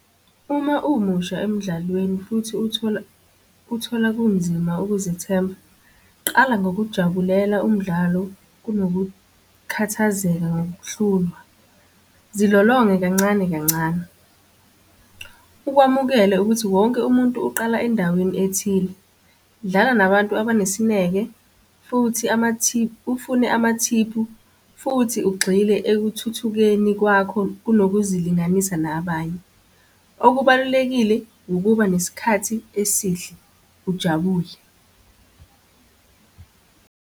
Uma umusha emdlalweni futhi uthola, uthola kunzima ukuzithemba, qala ngokujabulela umdlalo kunokukhathazekile ngokuhlulwa. Zilolonge kancane kancane. Ukwamukele ukuthi wonke umuntu uqala endaweni ethile. Dlala nabantu abenesineke futhi , ufune amathiphu, futhi ugxile ekuthuthukeni kwakho kunokuzilinganisa nabanye. Okubalulekile ukuba nesikhathi esihle, ujabule.